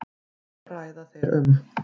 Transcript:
Hvað ræða þeir um?